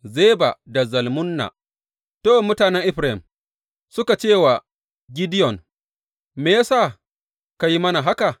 Zeba da Zalmunna To, mutanen Efraim suka ce wa Gideyon, Me ya sa ka yi mana haka?